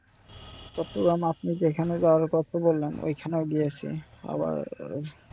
চট্টগ্রাম আপনি যেখানে যাওয়ার কথা বললেন ঐখানেও গিয়েছি